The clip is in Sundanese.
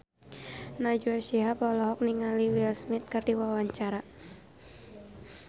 Najwa Shihab olohok ningali Will Smith keur diwawancara